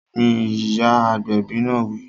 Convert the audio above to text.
Gbin! Ìyá agbẹ̀bi náà wí